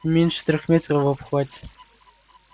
не меньше трёх метров в обхвате